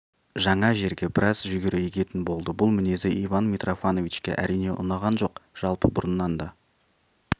жаңа жерге біраз жүгері егетін болды бұл мінезі иван митрофановичке әрине ұнаған жоқ жалпы бұрыннан да